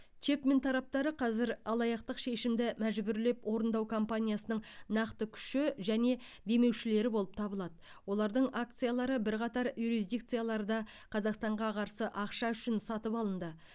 чэпмен тараптары қазір алаяқтық шешімді мәжбүрлеп орындау кампаниясының нақты күші және демеушілері болып табылады олардың акциялары бірқатар юрисдикцияларда қазақстанға қарсы ақша үшін сатып алынды